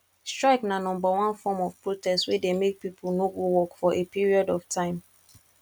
strike na number one form of protest wey de make pipo no go work for a period of time